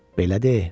"Belə de,"